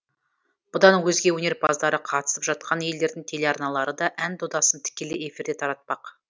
бұдан өзге өнерпаздары қатысып жатқан елдердің телеарналары да ән додасын тікелей эфирде таратпақ